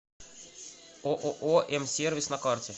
ооо м сервис на карте